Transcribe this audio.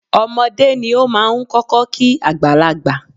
Ọmọdé ni ó máa ń kọ́kọ́ kí àgbàlagbà.